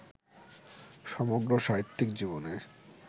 সমগ্র সাহিত্যিক জীবনে